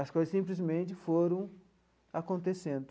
As coisas simplesmente foram acontecendo.